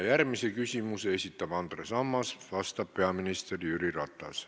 Järgmise küsimuse esitab Andres Ammas ja vastab peaminister Jüri Ratas.